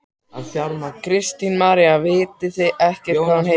Kristín María: Vitið þið ekkert hvað hún heitir?